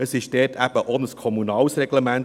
Dort ist es eben auch ein kommunales Reglement;